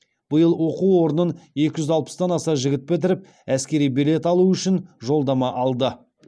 биыл оқу орнын екі жүз алпыстан аса жігіт бітіріп әскери билет алу үшін жолдама алды